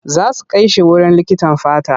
Za su kai shi wurin likitan fata.